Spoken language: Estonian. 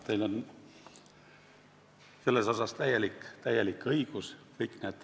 Teil on täiesti õigus.